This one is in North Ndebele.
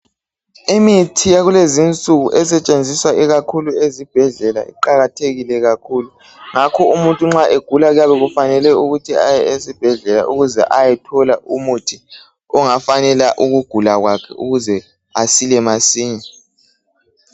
Imithi yakulezi insuku esetshenziswa ikakhulu esibhedlela iqakathekile kakhulu. Ngakho umuntu nxa egula kufale aye esibhedlela ukuze ayothola umuthi ongafanela ukugula kwakhe ukuze asile masinya.